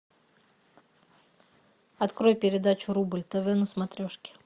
открой передачу рубль тв на смотрешке